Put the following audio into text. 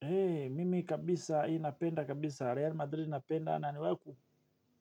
Hei, mimi kabisa, inapenda kabisa, Real Madrid inapenda, naniwewe